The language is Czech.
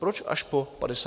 Proč až po 58 dnech?